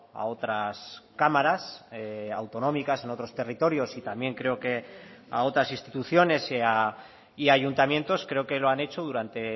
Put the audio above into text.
a otras cámaras autonómicas en otros territorios y también creo que a otras instituciones y ayuntamientos creo que lo han hecho durante